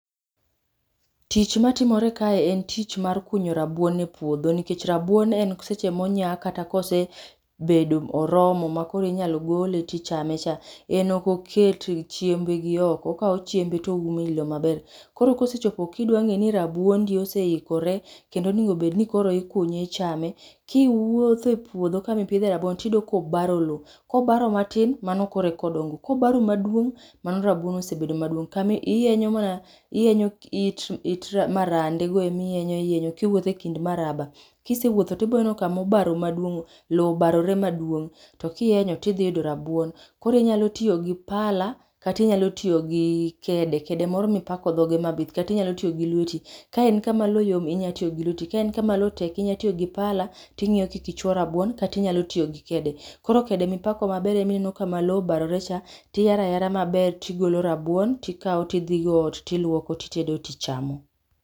Tich matimore kae en tich mar kunyo rabuon e puodho, nikech rabuon en seche monyak , kata kosebedo oromo makoro inyalo gole tichame cha, en ok oket chiembe gioko, okawo chiembe to oumo ei lowo maber. Koro kosechopo, kidwa ng'e ni rabuondi ose oikore, kendo onego bed ni koro ikunye ichame, kiwuotho e puodho kama ipidhe rabuon tiyudo kobaro lowo. Kobaro matin, mano koroe kodongo, kobaro maduong' mano rabuon ose bedo maduong' kami ihenyo mana ihenyo it marandego ema ihenyo ihenyo kiwuotho ekind maraba. Kisewuotho tiboneno kama obarore maduong' lowo obarore maduong' to kihenyo to idhi yudo rabuon. Koro inyalo tiyo gi pala kata inyalo tiyo gi kede, kede moro mipako dhoge mabith kata inyalo tiyo gi lweti. Ka en kama lowo yom inyalo tiyo gi lweti ka en kama lowo tek inyalo tiyo gi pala ting'iyo kik ichuo rabuon kata inyalo tiyo gi kede. Koro kede mipako maber ema ineno kama lowo obarorecha tiyaro ayara maber tigolo rabuon tikawo tidhigo ot, tiluoko titedo tichamo.